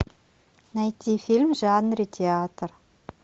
найти фильм в жанре театр